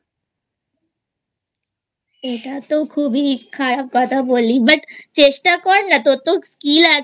এটা তো খুবই খারাপ কথা বললি But চেষ্টা কর না তোর তো Skill আছে